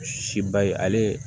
Si ba ye ale ye